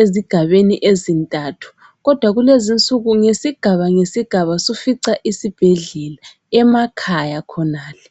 ezigabeni ezintathu. Kodwa kulezinsuku ngesigaba ngesigaba sufica isibhedlela emakhaya khonale.